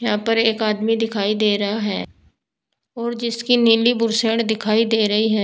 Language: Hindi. यहां पर एक आदमी दिखाई दे रहा है और जिसकी नीली बुशर्ट दिखाई दे रही है।